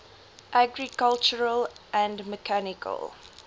agricultural and mechanical